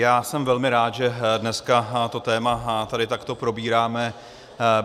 Já jsem velmi rád, že dneska to téma tady takto probíráme.